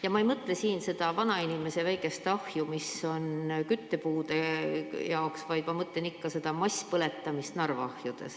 Ja ma ei mõtle siin seda vanainimese väikest ahju, mis on küttepuude jaoks, vaid ma mõtlen ikka seda masspõletamist Narva ahjudes.